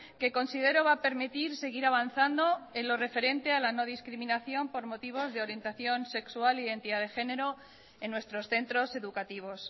que considero va a permitir seguir avanzando en lo referente a la no discriminación por motivos de orientación sexual e identidad de género en nuestros centros educativos